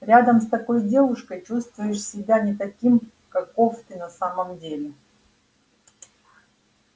рядом с такой девушкой чувствуешь себя не таким каков ты на самом деле